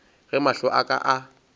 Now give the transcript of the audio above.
ge mahlo a ka a